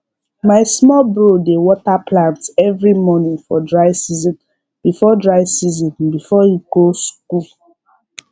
my small bro dey water plants every morning for dry season before dry season before he go school